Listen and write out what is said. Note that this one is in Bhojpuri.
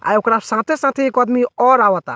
आय ओकरा साथे-साथे एक अदमी और आवता।